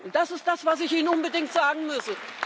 Das ist das, was ich Ihnen unbedingt sagen musste.